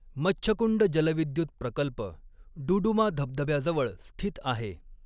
मच्छकुंड जलविद्युत प्रकल्प डुडुमा धबधब्याजवळ स्थित आहे.